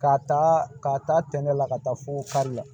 K'a ta k'a ta tɛntɛn la ka taa fo kari la